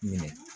Minɛ